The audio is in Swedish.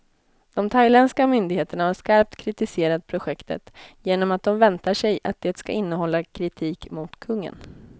De thailändska myndigheterna har skarpt kritiserat projektet, genom att de väntar sig att det ska innehålla kritik mot kungen.